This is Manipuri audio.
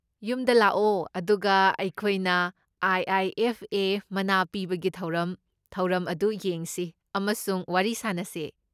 ꯌꯨꯝꯗ ꯂꯥꯛꯑꯣ ꯑꯗꯨꯒ ꯑꯩꯈꯣꯏꯅ ꯑꯥꯏ.ꯑꯥꯏ.ꯑꯦꯐ.ꯑꯦ. ꯃꯅꯥ ꯄꯤꯕꯒꯤ ꯊꯧꯔꯝ ꯊꯧꯔꯝ ꯑꯗꯨ ꯌꯦꯡꯁꯤ ꯑꯃꯁꯨꯡ ꯋꯥꯔꯤ ꯁꯥꯅꯁꯤ꯫